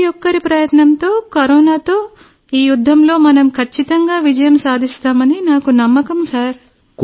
ప్రతి ఒక్కరి ప్రయత్నంతో కరోనాతో ఈ యుద్ధంలో మనం ఖచ్చితంగా విజయం సాధిస్తామని నాకు నమ్మకం సార్